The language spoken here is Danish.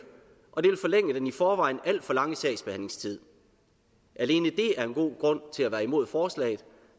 og det vil forlænge den i forvejen alt for lange sagsbehandlingstid alene det er en god grund til at være imod forslaget